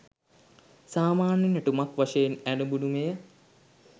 සාමාන්‍ය නැටුමක් වශයෙන් ඇරඹුණු මෙය